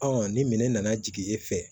ni minɛ nana jigin e fɛ